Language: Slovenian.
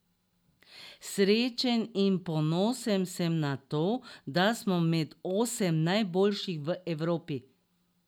Srečen in ponosen sem na to, da smo med osem najboljših v Evropi!